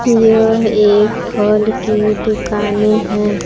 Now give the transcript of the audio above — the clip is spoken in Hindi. यह एक फल की दुकानें हैं।